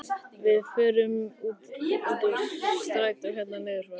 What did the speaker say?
Við fórum úr strætó hérna niður frá!